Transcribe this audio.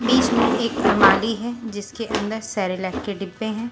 बीच में एक माली है जिसके अंदर सेरेलेक के डिब्बे हैं।